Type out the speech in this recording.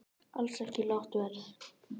Alls ekki lágt verð